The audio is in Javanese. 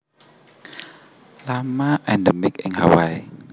Lama endemik ing Hawaii